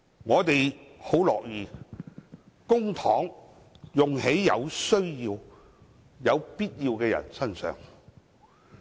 我們很樂意將公帑用於有需要的人身上。